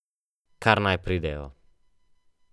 Kar naj pridejo.